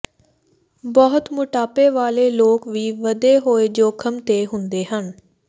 ਬਹੁਤ ਮੋਟਾਪੇ ਵਾਲੇ ਲੋਕ ਵੀ ਵਧੇ ਹੋਏ ਜੋਖਮ ਤੇ ਹੁੰਦੇ ਹਨ